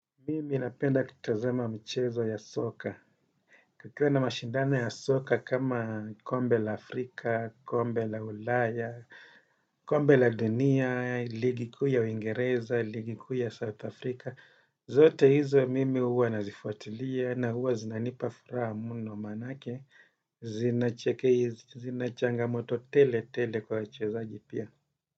Mimi ninapenda kutazama michezo ya soka. Kukiwa na mashindaoa ya soka kama kombe la Afrika, kombe la ulaya, kombe la dunia, ligi kuu ya uingereza, ligi kuu ya South Africa. Zote hizo mimi huwa nazifuatilia na huwa zinanipa furaha muno manake, zinacheke, zinachangamoto tele tele kwa wachezaji pia.